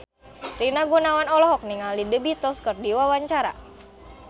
Rina Gunawan olohok ningali The Beatles keur diwawancara